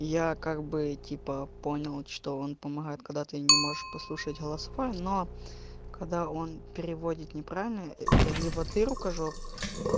я как бы типа понял что он помогает когда ты не можешь прослушать голосовое но когда он переводит неправильно это либо ты рукожоп